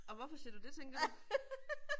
Og hvorfor siger du det tænker du?